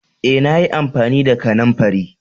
Eh, na yi amfani da kananfarin.